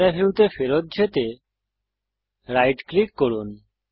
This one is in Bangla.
ক্যামেরা ভিউতে ফেরত যেতে রাইট ক্লিক করুন